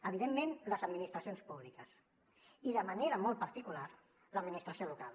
evidentment les administracions públiques i de manera molt particular l’administració local